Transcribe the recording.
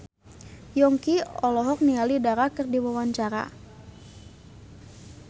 Yongki olohok ningali Dara keur diwawancara